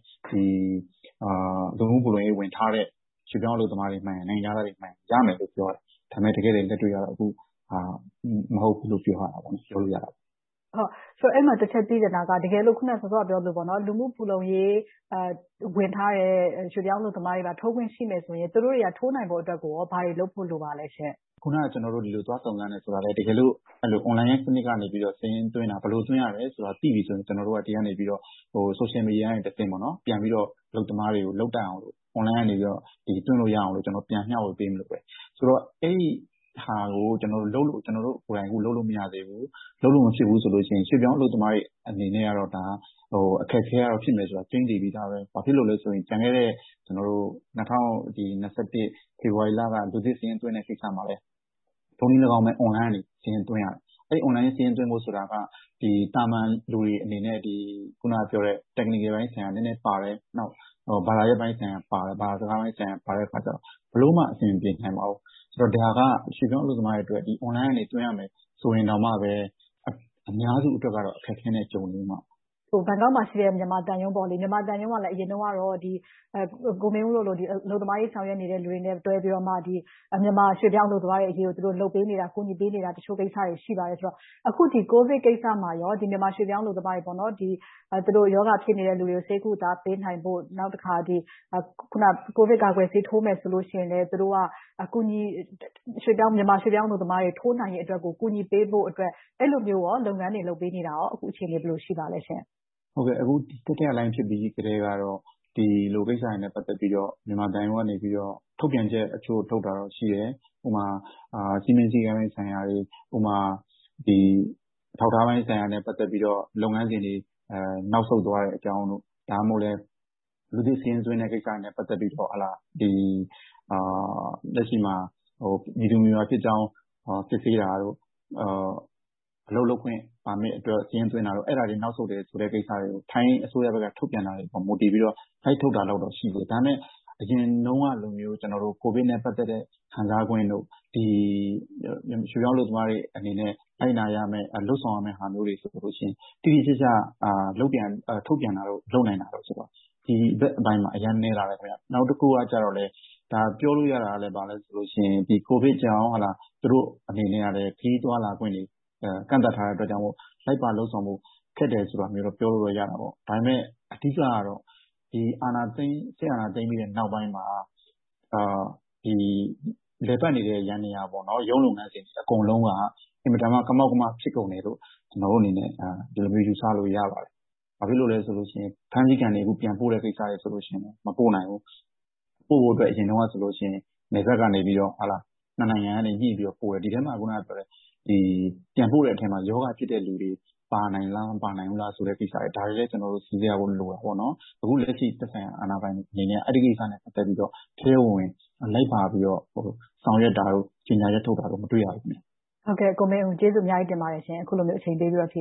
။ လူမှုဖူလုံရေးဝင်ထားတဲ့ ရွှေ့ပြောင်းအလုပ်သမားတွေမှန်ရင်၊ နိုင်ငံခြားသားတွေမှန်ရင် ရမယ်လို့ပြောတယ်။ ဒါပေမဲ့ တကယ့်တကယ် လက်တွေ့ကတော့ အခုဟာက မဟုတ်ဘူးလို့ ပြောလို့ရတယ်။ မေး ။ ။ အဲဒီမှာ တခု သိချင်တာက စောစောက ပြောခဲ့သလို၊ လူမှုဖူလုံရေးဝင်ထားတဲ့ ရွှေ့ပြောင်းအလုပ်သမားတွေသာ ထိုးခွင့်ရှိမယ်ဆိုရင် သူတို့တွေ ထိုးနိုင်ဖို့အတွက် ဘာတွေလုပ်ဖို့ လိုပါသလဲ။ ဖြေ ။ ။ အခုန ကျနော်တို့ သွားစုံစမ်းတယ်ဆိုတာ တကယ်လို့ အွန်လိုင်းစနစ်ကနေ စာရင်းသွင်းတာ၊ ဘယ်လိုသွင်းရသလဲဆိုတာကို သိပြီဆိုရင် ကျနော်တို့က ဒီကနေ ဆိုရှယ်မီဒီယာကနေတဆင့် ပြန်ပြီးတော့ အလုပ်သမားတွေကို လုပ်တတ်အောင်လို့ အွန်လိုင်းကနေ သွင်းလို့ရအောင်လို့ ပြန်မျှဝေ ပေးမလို့ပါ။ အဲဒီဟာကို ကျနော်တို့ကိုယ်တိုင် လုပ်လို့မရသေးဘူး။ လုပ်လို့မဖြစ်ဘူးဆိုရင် ရွှေ့ပြောင်းအလုပ်သမားတွေအနေနဲ့ ဒါက အခက်အခဲက ဖြစ်မှာတော့ ကျိန်းသေပြီ။ ဘာဖြစ်လို့လဲဆိုရင် ကျန်ခဲ့တဲ့ ၂၀၂၁ ဖေဖေါ်ဝါရီလက လူသစ်စာရင်းသွင်းတဲ့ကိစ္စမှာလဲ ထိုနည်းလည်းကောင်းပဲ အွန်လိုင်းကနေ စာရင်းသွင်းရတယ်။ အဲဒီအွန်လိုင်းစာရင်းသွင်းဖို့က သာမန်လူတွေအနေနဲ့ အခုနပြောတဲ့ technical ပိုင်းဆိုင်ရာ နည်းနည်းပါတယ်။ နောက် ဘာသာရပ်ပိုင်းဆိုင်ရာပါတယ်။ ဘာသာစကားပိုင်း ပါတဲ့အခါကြတော့ ဘယ်လိုမှ အဆင်မပြေနိုင်ပါဘူး။ ဒါက ရွှေ့ပြောင်းအလုပ်သမားတွေအနေနဲ့ အွန်လိုင်းကနေ သွင်းရမယ်ဆိုရင်တောင်မှ အများစုအတွက်က အခက်အခဲနဲ့ ကြုံနေရအုံးမယ်။ မေး ။ ။ ဘန်ကောက်မှာရှိတဲ့ မြန်မာသံရုံးက အရင်တုန်းကတော့ ကိုမင်းဦးတို့လို အလုပ်သမားရေး ဆောင်ရွက်နေသူတွေနဲ့ တွဲပြီးတော့ မြန်မာရွှေ့ပြောင်းအလုပ်သမားတွေ အရေးကို ကူညီဆောင်ရွက်ပေးနေတဲ့ တချို့ကိစ္စတွေ ရှိပါတယ်ဆိုတော့ အခု ကိုဗစ်ကိစ္စမှာ မြန်မာရွှေ့ပြောင်းအလုပ်သမားတွေ သူတို့ရောဂါဖြစ်နေသူတွေကို ဆေးကုပေးတာ၊ နောက်တခါ ကိုဗစ်ကာကွယ်ဆေး ထိုးမယ်ဆိုရင်လဲ၊ မြန်မာရွှေ့ပြောင်းအလုပ်သမားတွေ ထိုးနိုင်ရေးအတွက်ကို ကူညီပေးဖို့အတွက် အဲဒီလိုမျိုး လုပ်ငန်းတွေ လုပ်ပေးနေတာ အခု အခြေအနေ ဘယ်လိုရှိပါသလဲရှင့်။ ဖြေ ။ ။ အခု တတိယလှိုင်းဖြစ်ပြီးကတည်းက ဒီလိုကိစ္စရပ်တွေနဲ့ ပတ်သက်ပြီးတော့ မြန်မာသံရုံးကနေ ထုတ်ပြန်ချက်တချို့ ထုတ်တာတော့ ရှိတယ်။ ဥပမာ စည်းမျဉ်းစည်းကမ်းပိုင်းဆိုင်ရာတွေ၊ အထောက်အထားပိုင်းဆိုင်ရာနဲ့ ပတ်သက်ပြီးတော့ လုပ်ငန်းစဉ်တွေ၊ နောက်ဆုတ်သွားတဲ့အကြောင်းတို့။ ဒါမှမဟုတ် လူသစ်စာရင်းသွင်းတဲ့ကိစ္စနဲ့ ပတ်သက်ပြီးတော့ လက်ရှိမှာ မည်သူမည်ဝါဖြစ်ကြောင်း စစ်ဆေးတာတို့ အလုပ်လုပ်ခွင့် ပါမစ်အတွက် စာရင်းသွင်းတာတွေ အဲဒါတွေ နောက်ဆုတ်တယ်ဆိုတဲ့ ကိစ္စတွေကို ထိုင်းအစိုးရဘက်က ထုတ်ပြန်တာတွေပေါ် မူတည်ပြီးတော့ လိုက်ထုတ်တာတွေတော့ ရှိတယ်။ ဒါပေမဲ့ အရင်တုန်းကလို ကိုဗစ်နဲ့ ပတ်သက်တဲ့ ခံစားခွင့်တို့၊ ရွှေ့ပြောင်းအလုပ်သမားတွေအနေနဲ့ လိုက်နာရမယ်၊ လုပ်ဆောင်ရမယ့်ဟာတွေကို တိတိကျကျ ထုတ်ပြန်တာတို့ လုပ်နိုင်တာတို့က ဒီဘက်ပိုင်းမှာ အရမ်းနည်းလာတယ်။ နောက်တခုကတော့ ပြောလို့ရတာက ကိုဗစ်ကြောင့် သူတို့အနေနဲ့ ခရီးသွားလာခွင့်တွေ ကန့်သတ်ထားတာကြောင့် လိုက်ပါလုပ်ဆောင်ဖို့ ခက်တယ်ဆိုတာမျိုးတော့ ပြောလို့တော့ရတယ်။ ဒါပေမဲ့ အဓိကတော့ စစ်အာဏာသိမ်းနောက်ပိုင်းမှာ လည်ပတ်နေတဲ့ ယန္တရား ရုံးလုပ်ငန်းစဉ် အကုန်လုံးက အင်မတန်မှ ကမောက်ကမ ဖြစ်ကုန်တယ်လို့ ဒီလိုမျိုး ယူဆလို့ရတယ်။ ဘာဖြစ်လို့လဲဆိုရင် ဖမ်းဆီးခံတွေ ပြန်ပို့တဲ့ကိစ္စတွေဆိုရင် မပို့နိုင်ဘူး။ ပို့ဖို့အတွက် အရင်တုန်းကဆိုရင် နယ်စပ်ကနေ နှစ်နိုင်ငံက ညှိပြီးတော့ပို့တယ်။ ဒီထဲမှာ ပြန်ပို့တဲ့ထဲမှာ ရောဂါဖြစ်တဲ့လူတွေ ပါနိုင်လား၊ မပါနိုင်ဘူးလားဆိုတာကိစ္စကိုလည်း စီစစ်ဖို့လိုတယ်။ အခုလက်ရှိ သက်ဆိုင်ရာအာဏာပိုင်တွေအနေနဲ့ အဲဒီကိစ္စနဲ့ ပတ်သက်ပြီးတော့ ထဲထဲဝင်ဝင် လိုက်ပါပြီး ဆောင်ရွက်တာတို့ ကြေညာချက်ထုတ်တာတို့ မတွေ့ရဘူး။ မစုမြတ်မွန် ။ ။ ကိုမင်းဦး ကျေးဇူးအများကြီး တင်ပါတယ်ရှင်။ အခုလိုမျိုး အချိန်ပေးပြီး ဖြေ